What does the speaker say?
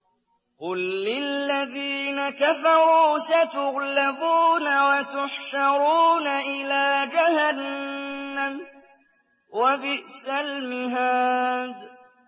قُل لِّلَّذِينَ كَفَرُوا سَتُغْلَبُونَ وَتُحْشَرُونَ إِلَىٰ جَهَنَّمَ ۚ وَبِئْسَ الْمِهَادُ